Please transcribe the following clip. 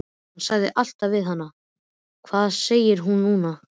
Hann sagði alltaf við hana: Hvað segir mín núna?